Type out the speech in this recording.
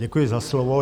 Děkuji za slovo.